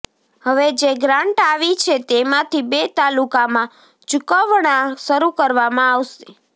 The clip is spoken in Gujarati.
હવે જે ગ્રાંટ આવી છે તેમાંથી બે તાલુકામાં ચૂકવણા શરૂ કરવામાં આવશે